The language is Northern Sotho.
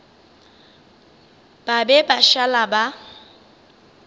ba be ba šala ba